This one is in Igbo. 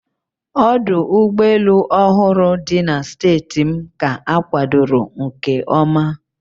Ọdụ ụgbọ elu ọhụrụ dị na steeti m ka akwadoro nke oma